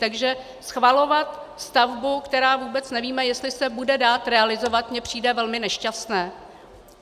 Takže schvalovat stavbu, která vůbec nevíme, jestli se bude dát realizovat, mi přijde velmi nešťastné.